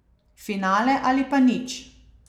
Finale ali pa nič.